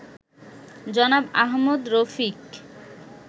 জনাব আহমদ রফিক